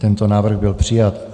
Tento návrh byl přijat.